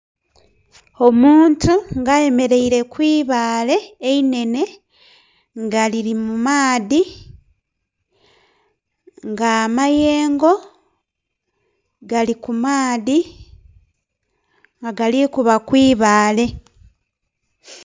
Omuntu nga ayemereire kwibaale einene nga liri mu maadhi nga amayengo gali ku maadhi nga galikuba kwibaale.